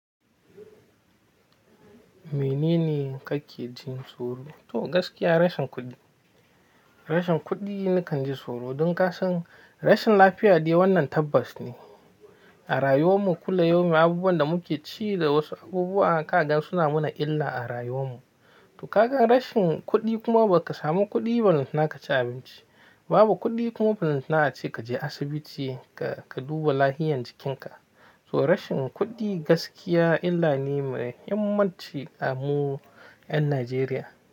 Menene kake jin tsoro? To gaskiya rashin kuɗi. Rashin kuɗi nakan ji tsoro don kasan rashin lafiya dai wannan tabbas ne. A rayuwar mu kullayomi abubuwan da muke ci da wasu abubuwa ka ga suna mana illa a rayuwar mu. To kaga rashin kuɗi kuma baka samu kuɗi ba lantana ka ci abinci. Babu kuɗi kuma ba lantana ace kaje asibiti ka duba lafiyan jikinka. To rashin kuɗi gaskiya illa ne mai muhimmanci a mu ƴan Najeriya.